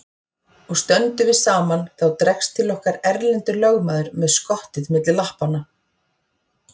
Og stöndum við saman þá dregst til okkar Erlendur lögmaður með skottið milli lappanna.